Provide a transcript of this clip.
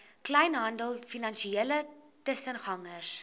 kleinhandel finansiële tussengangers